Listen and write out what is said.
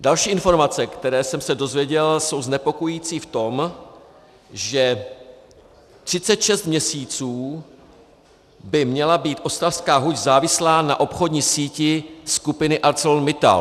Další informace, které jsem se dozvěděl, jsou znepokojující v tom, že 36 měsíců by měla být ostravská huť závislá na obchodní síti skupiny ArcelorMittal.